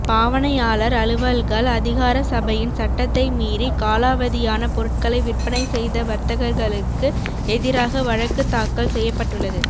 பாவனையாளர் அலுவல்கள் அதிகார சபையின் சட்டத்தை மீறி காலாவதியான பொருட்களை விற்பனை செய்த வர்த்தகர்களுக்கு எதிராக வழக்கு தாக்கல் செய்யப்பட்டுள்ளது